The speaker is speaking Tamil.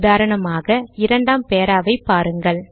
உதாரணமாக இரண்டாம் பாராவை பாருங்கள்